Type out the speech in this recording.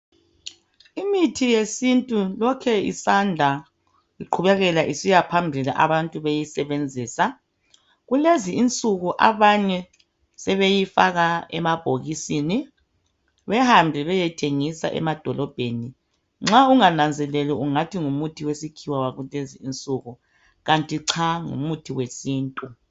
Imithi yesintu lokhe isanda iqhubekela isiya phambili abantu beyisebenzisa. Kulezi insuku abanye sebeyifaka emabhokisini behambe beyeyithengisa emadolobheni. Nxa ungananzeleli ungathi ngumuthi wesikhiwa wakulezi insuku kanti ca ngumuthi wesintu.